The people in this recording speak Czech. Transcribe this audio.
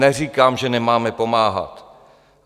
Neříkám, že nemáme pomáhat.